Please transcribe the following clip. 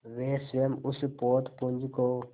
वे स्वयं उस पोतपुंज को